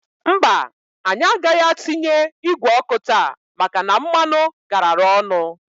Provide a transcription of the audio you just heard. Mbaǃ Anyị agaghị atinye igwe ọkụ taa maka na mmanụ garara ọnụ.